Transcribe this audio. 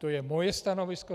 To je moje stanovisko.